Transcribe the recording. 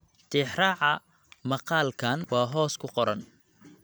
Tixraaca maqaalkan waa hoos ku qoran.